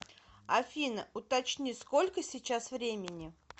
афина уточни сколько сейчас времени